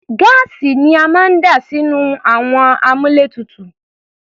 Gáàsì ni a máa ń dà sínú àwọn àmúlétuntun.